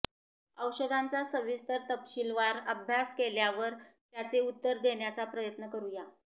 औषधांचा सविस्तर तपशीलवार अभ्यास केल्यावर त्याचे उत्तर देण्याचा प्रयत्न करूया